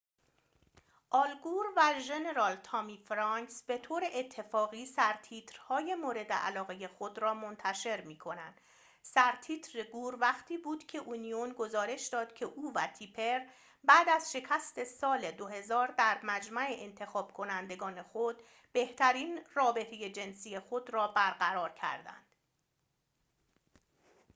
آل گور و ژنرال تامی فرانکس به طور اتفاقی سرتیتر‌های مورد علاقه خود را منتشر می کنند سرتیتر گور وقتی بود که اونیون گزارش داد که او و تیپر بعد از شکست سال 2000 در مجمع انتخاب کنندگان خود بهترین رابطه جنسی خود را برقرار کردند